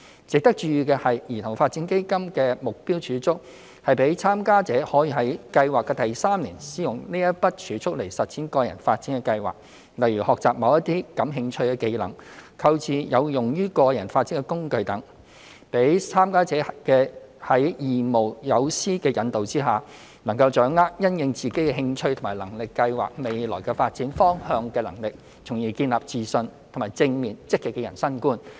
值得注意的是，兒童發展基金的目標儲蓄是讓參加者可於計劃的第三年使用該筆儲蓄實踐個人發展規劃，例如學習某些感興趣的技能；購置有用於個人發展的工具等，讓參加者在義務友師引導下，能夠掌握因應自己的興趣和能力計劃未來發展方向的能力，從而建立自信及正面、積極的人生觀。